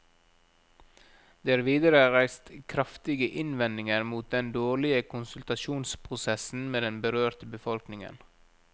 Det er videre reist kraftige innvendinger mot den dårlige konsultasjonsprosessen med den berørte befolkningen.